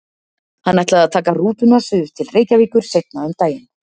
Hann ætlaði að taka rútuna suður til Reykjavíkur seinna um daginn.